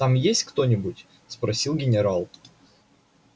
там есть кто-нибудь спросил генерал